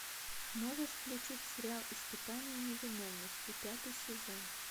можешь включить сериал испытание невиновностью пятый сезон